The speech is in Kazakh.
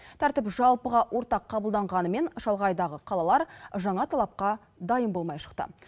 тәртіп жалпыға ортақ қабылданғанымен шалғайдағы қалалар жаңа талапқа дайын болмай шықты